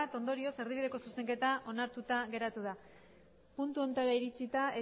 ondorioz erdibideko zuzenketa onartuta geratu da puntu honetara iritsita